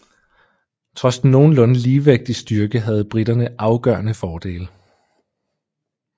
Trods den nogenlunde ligevægt i styrke havde briterne afgørende fordele